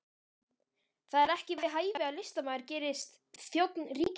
Það er ekki við hæfi að listamaður gerist þjónn ríkisvaldsins